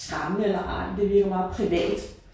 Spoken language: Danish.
Skræmmende eller ej men det virker meget privat